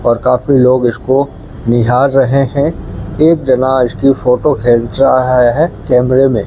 और काफी लोग इसको निहार रहे हैं एक जना इसकी फोटो खींच रहा हैं कैमरे में --